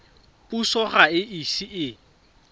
puso ga e ise e